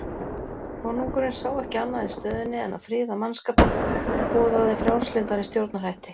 Konungurinn sá ekki annað í stöðunni en að friða mannskapinn og boðaði frjálslyndari stjórnarhætti.